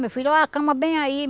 Meu filho, oh a cama bem aí.